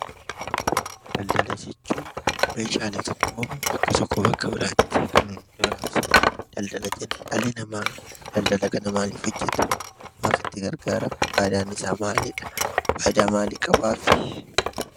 Daldala jechuun Meeshaalee tokko bakka tokkoo bakka biraatti kan nuti raabsinu daldala jenna. Dhalli namaa daldala kana maaliif hojjeta? Maaliif gargaara? Fayidaan isaa maalidha?